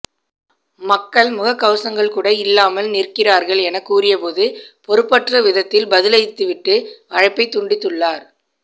மக்கள் முக்கவசங்கள் கூட இல்லாமல் நிற்கிறார்கள் என கூறிபோது பொறுப்பற்ற விதத்தில் பதிலளித்துவிட்டு அழைப்பை துண்டித்துள்ளார்